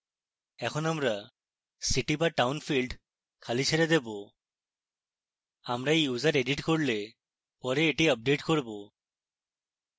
এখন আমরা city/town field খালি ছেড়ে দেবো আমরা we user edit করলে পরে এটি আপডেট করব